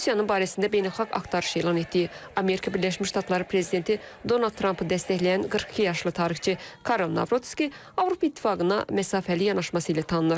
Rusiyanın barəsində beynəlxalq axtarış elan etdiyi Amerika Birləşmiş Ştatları prezidenti Donald Trampı dəstəkləyən 42 yaşlı tarixçi Karol Navrutski Avropa İttifaqına məsafəli yanaşması ilə tanınır.